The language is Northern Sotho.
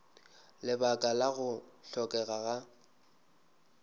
lebaka la go hlokega ga